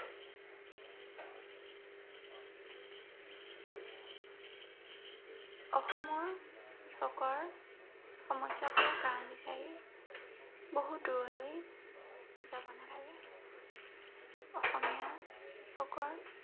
অসমৰ কৃষকৰ সমস্য়াবোৰৰ কাৰন বিচাৰি বহুত দূৰলৈ যাব নালাগে। অসমীয়া, কৃষকৰ